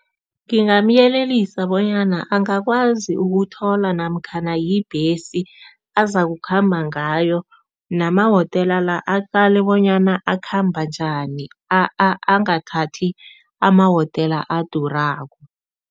Ngingamyelelisa bonyana angakwazi ukuthola namkhana yibhesi azakukhamba ngayo nama-hotela la, aqale bonyana akhamba njani angathathi ama-hotela adurako.